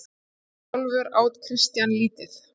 Sjálfur át Christian lítið.